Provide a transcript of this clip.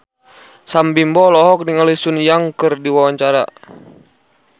Sam Bimbo olohok ningali Sun Yang keur diwawancara